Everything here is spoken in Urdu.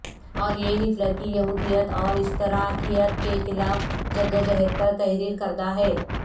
اور یہ ہٹلر کی یہودیت اور اشتراکیت کے خلاف جدوجہد پر تحریر کردہ ہے